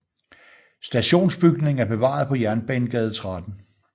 Stationsbygningen er bevaret på Jernbanegade 13